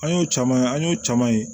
An y'o caman ye an y'o caman ye